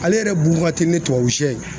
Ale yɛrɛ bugun ka teli ni tubabusɛ ye.